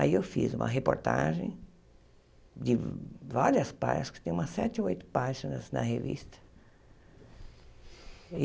Aí eu fiz uma reportagem de várias páginas, que tem umas sete ou oito páginas na revista.